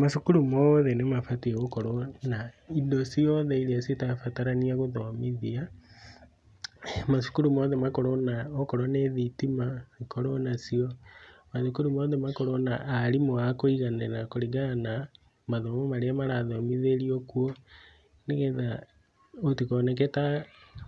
Macukurũ mothe nĩ mabatiĩ gũkorwo na indo ciothe iria citara batarania gũthomithia, macũkũru mothe makorwo na okorwo nĩ thitima ikorwo nacio ,mathũkũrũ mothe makorwo na arimũ akũiganĩra kũringana na mathomo marĩa marathomithĩrio kuo, nĩgetha gũtikooneke ta